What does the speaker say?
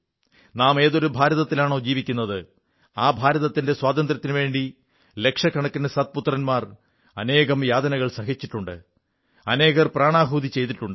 നാം ഏതൊരു ഭാരതത്തിലാണോ ജീവിക്കുന്നത് ആ ഭാരതത്തിന്റെ സ്വാതന്ത്ര്യത്തിനുവേണ്ടി ലക്ഷക്കണക്കിന് സത്പുത്രന്മാർ അനേകം യാതനകൾ സഹിച്ചിട്ടുണ്ട് അനേകർ പ്രാണാഹുതി ചെയ്തിട്ടുണ്ട്